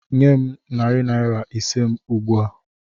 Nye m narị naira ise m ugbu a!